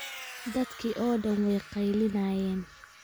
Dadkii oo dhaan way qaylinayeen